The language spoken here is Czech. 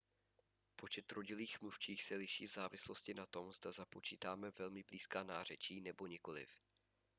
počet rodilých mluvčích se liší v závislosti na tom zda započítáme velmi blízká nářečí nebo nikoliv